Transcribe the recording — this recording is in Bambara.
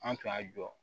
An tun y'a jɔ